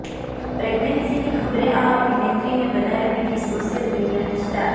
પ્રેગ્નેન્સીની ખબરે આ અભિનેત્રીને બનાવી દીધી સોશિયલ મીડિયાની સ્ટાર